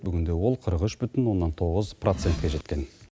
бүгінде ол қырық үш бүтін оннан тоғыз процентке жеткен